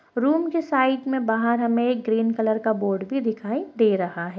Room के side में बाहर हमें एक ग्रीन कलर का बोर्ड भी दिखाई दे रहा है।